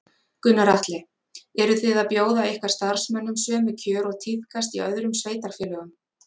Gunnar Atli: Eru þið að bjóða ykkar starfsmönnum sömu kjör og tíðkast í öðrum sveitarfélögum?